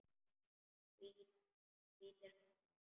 Hvítir hattar.